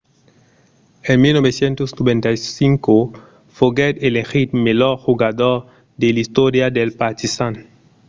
en 1995 foguèt elegit melhor jogador de l'istòria del partizan